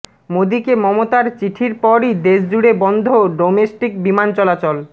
মোদীকে মমতার চিঠির পরই দেশজুড়ে বন্ধ ডোমেস্টিক বিমান চলাচল